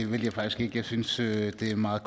det vil jeg faktisk ikke jeg synes at det er en meget